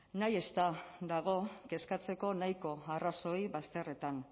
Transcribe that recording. nahiez eta dago kezkatzeko nahiko arrazoi bazterretan